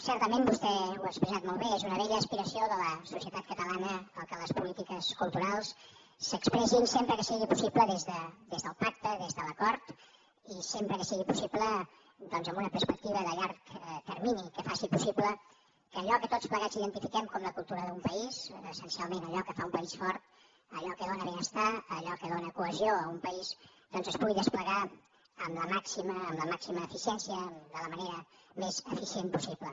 certament vostè ho ha expressat molt bé és una vella aspiració de la societat catalana que les polítiques culturals s’expressin sempre que sigui possible des del pacte des de l’acord i sempre que sigui possible doncs amb una perspectiva de llarg termini que faci possible que allò que tots plegats identifiquem com la cultura d’un país essencialment allò que fa un país fort allò que dóna benestar allò que dóna cohesió a un país doncs es pugui desplegar amb la màxima eficiència de la manera més eficient possible